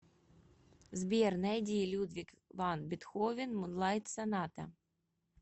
сбер найди людвиг ван бетховен мунлайт соната